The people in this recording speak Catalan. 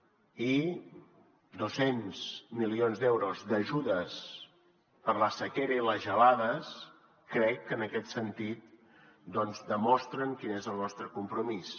i dos cents milions d’euros d’ajudes per a la sequera i les gelades crec que en aquest sentit doncs demostren quin és el nostre compromís